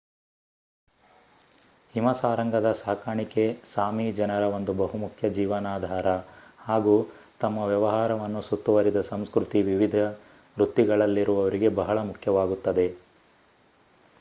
ಹಿಮಸಾರಂಗದ ಸಾಕಾಣಿಕೆ ಸಾಮಿ ಜನರ ಒಂದು ಬಹುಮುಖ್ಯ ಜೀವನಾಧಾರ ಹಾಗೂ ತಮ್ಮ ವ್ಯವಹಾರವನ್ನು ಸುತ್ತುವರಿದ ಸಂಸ್ಕ್ರತಿ ವಿವಿಧ ವೃತ್ತಿಗಳಲ್ಲಿರುವರಿಗೆ ಬಹಳ ಮುಖ್ಯವಾಗುತ್ತದೆ